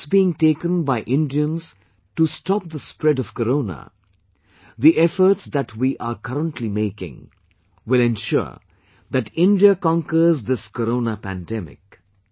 The steps being taken by Indians to stop the spread of corona, the efforts that we are currently making, will ensure that India conquers this corona pandemic